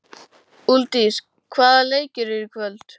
Úlfdís, hvaða leikir eru í kvöld?